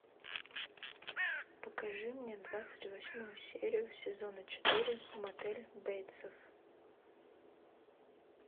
покажи мне двадцать восьмую серию сезона четыре мотель бейтсов